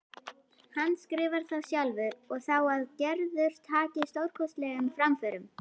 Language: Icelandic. Handskrifar þá sjálfur á það að Gerður taki stórkostlegum framförum.